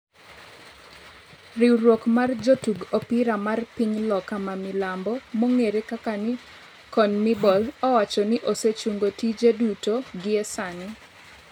Riwruok mar jotug opira mar piny Loka ma milambo (Conmebol) owacho ni osechungo tije duto gi e sani